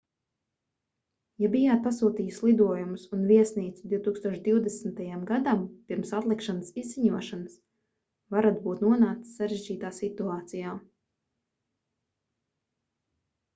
ja bijāt pasūtījis lidojumus un viesnīcu 2020. gadam pirms atlikšanas izziņošanas varat būt nonācis sarežģītā situācijā